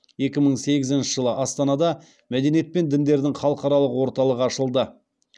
екі мың сегізінші жылы астанада мәдениет пен діндердің халықаралық орталығы ашылды